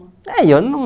É e eu não